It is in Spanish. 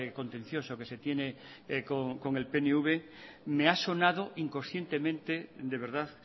contencioso que se tiene con el pnv me ha sonado inconscientemente de verdad